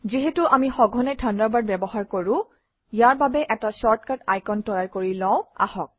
যিহেতু আমি সঘনে থাণ্ডাৰবাৰ্ড ব্যৱহাৰ কৰোঁ ইয়াৰ বাবে এটা শ্বৰ্টকাট আইকন তৈয়াৰ কৰি লওঁ আহক